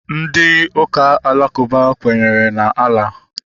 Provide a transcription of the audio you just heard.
Ndị ụka alakụba kwenyere na Allah